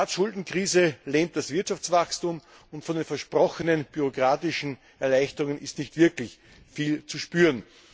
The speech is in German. Die Staatsschuldenkrise lähmt das Wirtschaftswachstum, und von den versprochenen bürokratischen Erleichterungen ist nicht wirklich viel zu spüren.